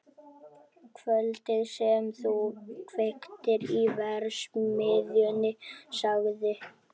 Kvöldið sem þú kveiktir í verksmiðjunni- sagði